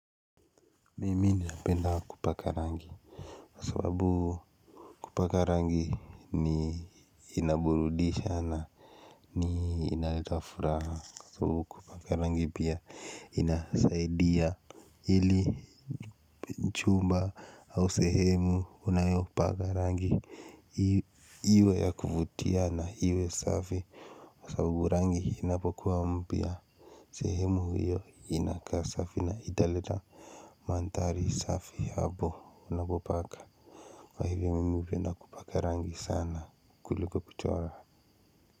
Mimi ninapenda kupaka rangi kwa sababu kupaka rangi ni inaburudisha na ni inaleta furaha kwa sabubu kupaka rangi pia inasaidia ili chumba au sehemu unayopaka rangi iwe ya kuvutia na iwe safi. Kwa sabubu rangi inapokuwa mpya sehemu hiyo inakaa safi na italeta mandhari safi hapo unapopaka kwa hivyo mimi hupenda kupaka rangi sana kuliko kuchora.